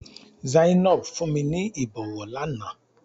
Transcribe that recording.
Zainab fún mi ní ìbọwọ́ lánàá.